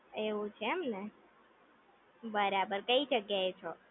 એવું છે એમને, બરાબર, કઈ જગ્યા એ છો